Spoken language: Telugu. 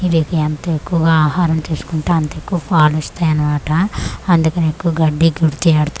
వీటికి ఎంత ఎక్కువగా ఆహారం తీసుకుంటే అంత ఎక్కువ పాలిస్తాయి అన్నమాట అందుకనే ఎక్కువ గడ్డి కుడిది యెడతారు.